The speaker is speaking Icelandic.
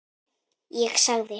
Ég sagði